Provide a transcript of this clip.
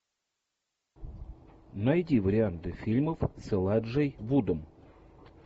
найди варианты фильмов с элайджей вудом